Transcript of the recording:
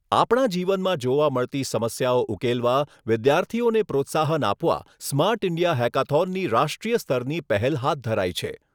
આપણા જીવનમાં જોવા મળતી સમસ્યાઓ ઉકેલવા વિદ્યાર્થીઓને પ્રોત્સાહન આપવા સ્માર્ટ ઇન્ડિયા હેકાથોનની રાષ્ટ્રીય સ્તરની પહેલ હાથ ધરાઈ છે.